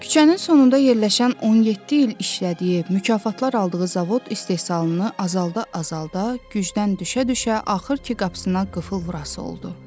Küçənin sonunda yerləşən 17 il işlədiyi, mükafatlar aldığı zavod istehsalını azalda-azalda, gücdən düşə-düşə axır ki qapısına qıfıl vurası oldu.